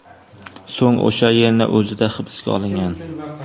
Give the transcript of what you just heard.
So‘ng o‘sha yerning o‘zida hibsga olingan.